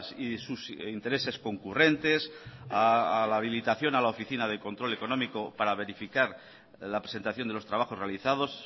y sus intereses concurrentes a la habilitación a la oficina de control económico para verificar la presentación de los trabajos realizados